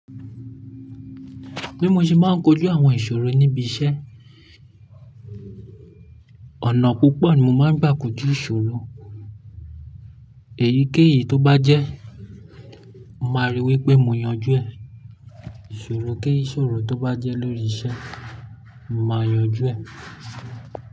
Bí mo ṣe máa ń kojú àwọn ìṣòro níbi iṣẹ́, ọ̀nà púpọ̀ ni mo máa ń gbà kojú ìṣòro. Èyíkéyìí tó bá jẹ́, máa rí i wí pé mo yanjú ẹ̀. Ìṣòro kí ìṣòro tó bá jẹ́ lórí iṣẹ́, màá yanjú ẹ̀.